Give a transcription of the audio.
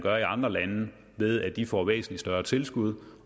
er i andre lande ved at de får et større tilskud